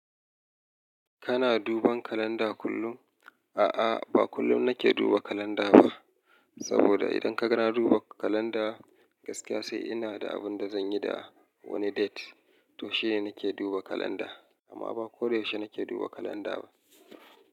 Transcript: Kana duban kalanda kullum? A'a, ba kullum nake duba kalanda ba. Saboda idan kaga na duba kalanda gaskiya sai ina da abun da zan yi da wani date, to shine nake duba kalanda. Amma ba ko da yaushe nake duba kalanda ba.